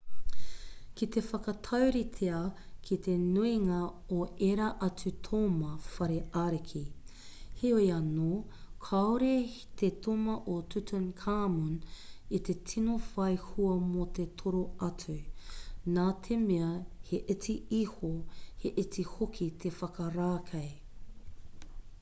ki te whakatauritea ki te nuinga o ērā atu toma whare ariki heoi anō kāore te toma o tutankhamun i te tino whai hua mō te toro atu nā te mea he iti iho he iti hoki te whakarākei